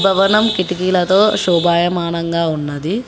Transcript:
భవనం కిటికీలతో షోబాయ మానంగా ఉన్నది.